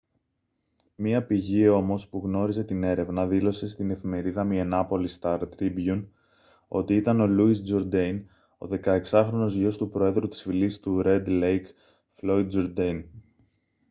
μια πηγή όμως που γνώριζε την έρευνα δήλωσε στην εφημερίδα μινεάπολις σταρ τρίμπιουν ότι ήταν ο louis jourdain ο 16χρονος γιος του προέδρου της φυλής του ρεντ λέικ floyd jourdain